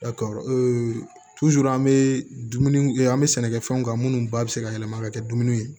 an bɛ dumuni an bɛ sɛnɛkɛfɛnw kan minnu ba bɛ se ka yɛlɛma ka kɛ dumuniw ye